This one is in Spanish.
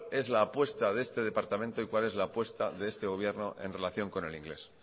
es la apuesta de este departamento y cuál es la apuesta de este gobierno en relación con el inglés